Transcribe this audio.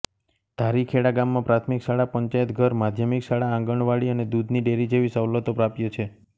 ધારીખેડા ગામમાં પ્રાથમિક શાળા પંચાયતઘર માધ્યમિક શાળા આંગણવાડી અને દૂધની ડેરી જેવી સવલતો પ્રાપ્ય છે